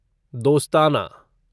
दोस्ताना